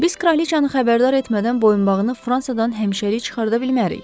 Biz kraliçanı xəbərdar etmədən boyunbağını Fransadan həmişəlik çıxarda bilmərik.